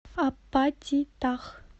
апатитах